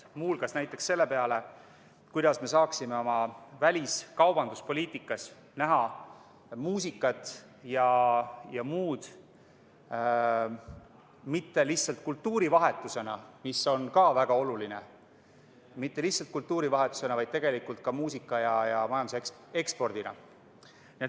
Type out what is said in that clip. Muu hulgas tuleb mõelda näiteks selle peale, kuidas me saaksime oma väliskaubanduspoliitikas kasutada muusikat ja mitte lihtsalt kultuurivahetuse korras, mis on küll ka väga oluline, aga muusikat võib ka eksportida.